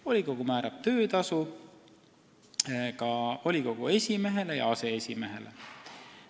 Volikogu määrab töötasu ka volikogu esimehele ja aseesimehele.